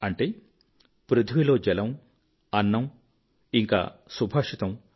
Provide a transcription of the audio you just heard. అంటే పృథివిలో జలము అన్నము మరియు సుభాషితము